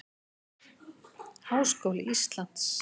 Háskóli Íslands.